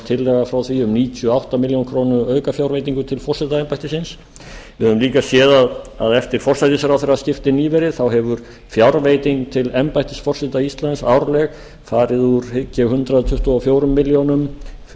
frá því um níutíu og átta milljónir króna aukafjárveitingu til forsetaembættisins við höfum líka séð að eftir forsætisráðherraskipti nýverið hefur fjárveiting til embættis forseta íslands árleg farið úr hygg ég hundrað tuttugu og fjórar milljónir